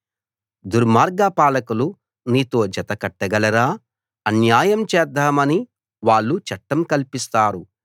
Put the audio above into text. దుర్మార్గ పాలకులు నీతో జత కట్టగలరా అన్యాయం చేద్దామని వాళ్ళు చట్టం కల్పిస్తారు